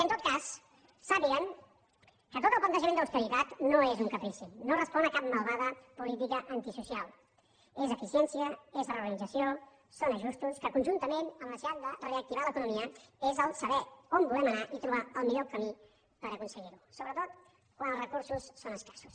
en tot cas sàpiguen que tot el plantejament d’austeritat no és un caprici no respon a cap malvada política antisocial és eficiència és reorganització són ajustos que conjuntament amb la necessitat de reactivar l’economia és saber on volem anar i trobar el millor camí per aconseguir ho sobretot quan els recursos són escassos